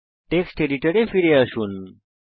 text এডিটরে ফিরে আসুন